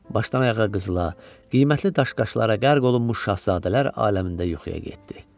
Başdan-ayağa qızıla, qiymətli daş-qaşlara qərq olunmuş şahzadələr aləmində yuxuya getdi.